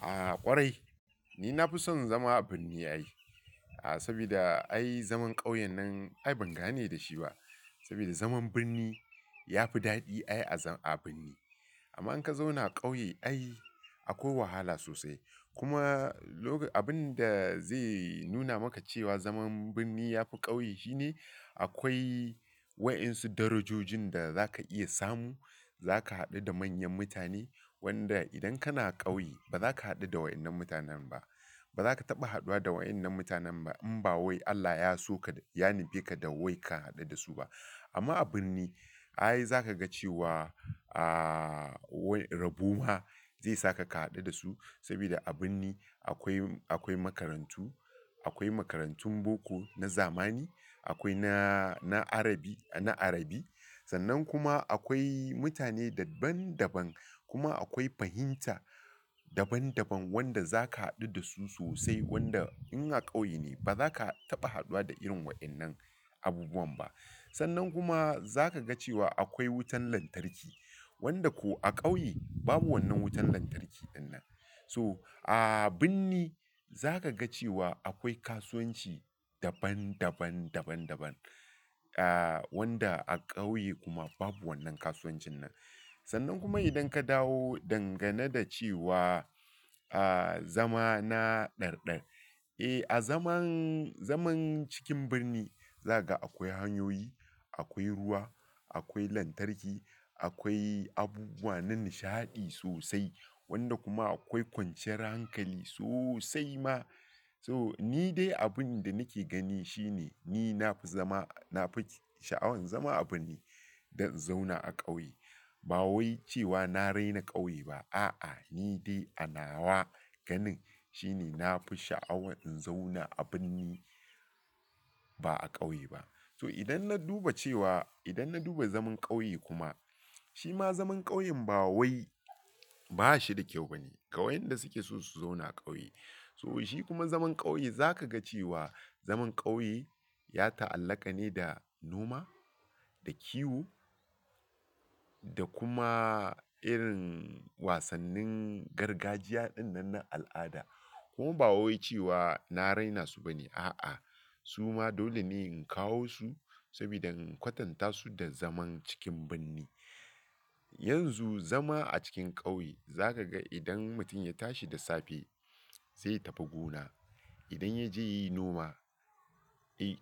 A ƙwarai, ni na fi son zama a birni ai. Saboda ai zaman ƙauye nan ai ban gane da shi ba. Saboda zaman birni ya fi daɗi ai a birni. Amma in ka zauna a ƙauye ai akwai wahala sosai. Kuma abin da zai nuna maka cewa zaman birni ya fi ƙauye shine akwai waɗansu darajoji da za ka iya samu. Za ka haɗu da manyan mutane wanda idan kana ƙauye ba za ka haɗu da waɗannan mutanen ba. Ba za ka taɓa haɗuwa da waɗannan mutanen ba in ba wai Allah ya so ka, ya nufe ka da wai ka haɗu da su ba. Amma a birni ai za ka ga cewa rabuwa zai saka ka haɗu da su. Saboda a birni akwai makarantu, akwai makarantun boko na zamani, akwai na Arabi, sannan kuma akwai mutane daban daban. Kuma akwai fahimta daban daban wanda za ka haɗu da su sosai wanda in a ƙauye ne ba za ka taɓa haɗuwa da irin waɗannan abubuwan ba. Sannan kuma zaka cewa akwai wutar lantarki wanda ko a kauye babu wannan wutar lantarki dinnan. So a birni za ka ga cewa akwai kasuwanci daban daban, wanda a ƙauye kuma babu wannan kasuwancin nan. Sannan kuma idan ka dawo dangane da cewa a zama na ɗarɗar, azaman, zaman cikin birni zakaga akwai hanyoyi. Akwai ruwa akwai lantarki akwai abubuwa na nishadi sosai wanda kuma akwai kwanciyar hankali sosai ma so ni dai abin da nake gani shine ni na fi sha'awan zama a birni dan in zauna a ƙauye. Ba wai cewa na raina ƙauye ba. A'a, ni dai a nawa ganin shine na fi sha'awan in zauna a birni ba a ƙauye ba. So idan na duba cewa, idan na duba zaman ƙauye kuma, shi ma zaman ƙauyen ba wai ba shi da kyau bane ga wayanda suke so su zauna ƙauye. So shi kuma zaman kauye zakaga cewa zaman kauye ya ta, allaqa ne da noma da kiwo da kuma irin wasannin gargajiya dinnan na al aada kuma ba wai cewa na raina su bane. A'a, su ma dole ne in kawo su saboda in kwatanta su da zaman cikin birni. Yanzu zama a cikin ƙauye za ka ga idan mutum ya tashi da safe zai tafi gona. Idan ya je yi noma,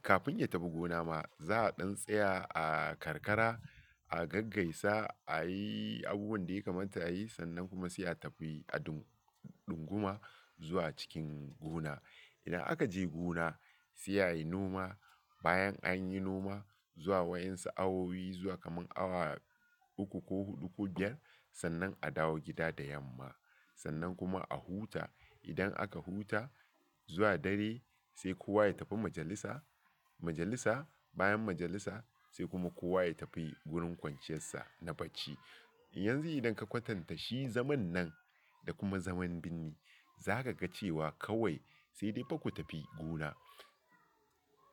kafin ya tafi gona ma za a ɗan tsaya a karkara, a gaggaisa, a yi abubuwan da ya kamata a yi sannan kuma sai a tafi a ɗunguma zuwa cikin gona. Idan aka je gona sai a yi noma. Bayan anyi noma zuwa waansu awoyi zuwa kamar awa ukku koh hudu koh biyar sannan adawo gida da yamma idan aka huta zuwa dare sai kowa ya tafi majalisa. Bayan majalisa sai kuma kowa ya tafi wurin kwanciyarsa na bacci. Yanzu idan ka kwatanta shi zamannan da kuma zaman birni zakaga cewa kawai sai dai fa ku tafi gona.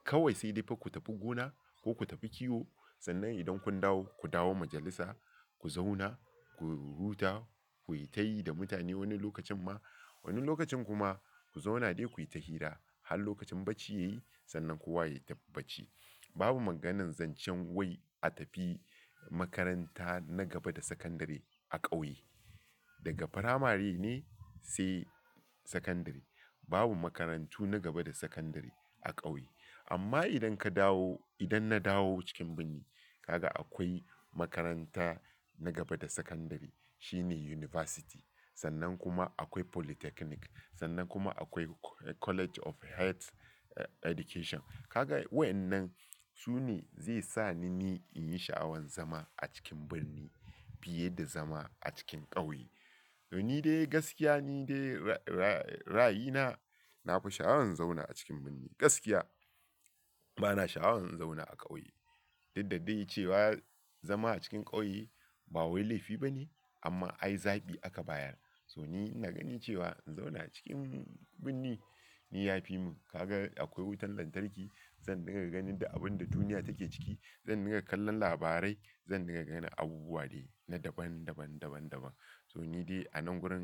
Kawai sai dai fa ku tafi gona ko ku tafi kiwo sannan idan kun dawo, ku dawo majalisa ku zauna, ku huta, ku yi tayi da mutane wani lokacin ma. Wani lokacin kuma ku zauna dai ku yi ta hira har lokacin bacci ya yi sannan kowa ya tafi bacci. Babu maganan zancen wai a tafi makaranta na gaba da sakandare a ƙauye. Daga firamare ne sai sakandare. Babu makarantu na gaba da sakandare a ƙauye. Amma idan ka dawo, idan na dawo cikin birni ka ga akwai makaranta na gaba da sakandare shine yunifasiti. Sannan kuma akwai polytechnic sannan kuma akwai College of Health Education. Ka ga waɗannan su ne zai sa ni in yi sha'awan zama a cikin birni fiye da zama a cikin ƙauye. Ni dai gaskiya ni dai rayina na fi sha'awan zauna a cikin birni. Gaskiya bana sha'awan in zauna a ƙauye. Duddadai cewa zama a cikin ƙauye ba wai laifi bane amma ai zaɓi aka bayar. So ni ina gani cewa in zauna acikin birni, ni yafi mun. Ka ga akwai wutar lantarki zan dinga ganin duk abun da duniya take ciki, zan dinga kallon labarai, zan dinga ganin abubuwa dai na daban daban. So ni dai a nan gurin.